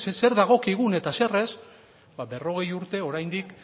zer dagokigun eta zer ez ba berrogei urte oraindik